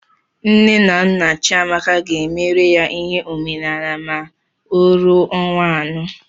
Nne na nna Chiamaka ga-emere ya ihe omenaala ma ọ ruo ọnwa anọ.